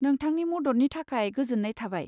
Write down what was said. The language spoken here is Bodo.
नोंथांनि मददनि थाखाय गोजोन्नाय थाबाय।